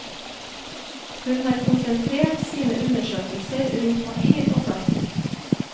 Hun har konsentrert sine undersøkelser rundt papir og plast.